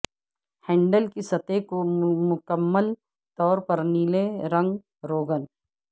handle کی سطح کو مکمل طور پر نیلے رنگ روغن